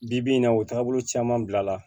Bi bi in na o taabolo caman bila la